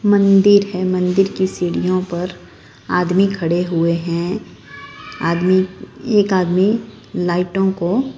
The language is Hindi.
मंदिर है मंदिर की सीढ़ियों पर आदमी खड़े हुए हैं आदमी एक आदमी लाइटों को--